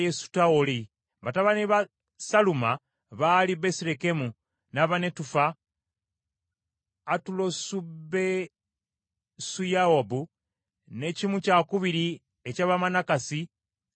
Batabani ba Saluma baali Besirekemu, n’Abanetufa, Atulosubesuyowabu, ne kimu kyakubiri eky’Abamanakasi, Abazooli,